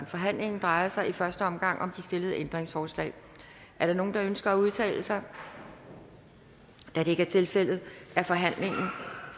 forhandlingen drejer sig i første omgang om de stillede ændringsforslag er der nogen der ønsker at udtale sig da det ikke er tilfældet er forhandlingen